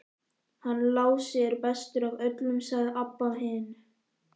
Hann Lási er bestur af öllum, sagði Abba hin.